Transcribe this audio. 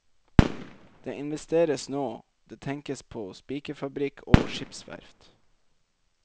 Det investeres nå, det tenkes på spikerfabrikk og skipsverft.